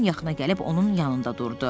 Ben yaxına gəlib onun yanında durdu.